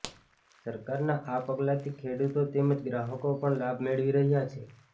સરકારના આ પગલાથી ખેડૂતો તેમજ ગ્રાહકો પણ લાભ મેળવી રહ્યા છે